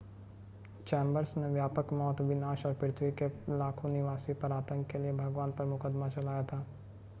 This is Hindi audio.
चैंबर्स ने व्यापक मौत विनाश और पृथ्वी के लाखों निवासी पर आतंक के लिए भगवान पर मुकदमा चलाया था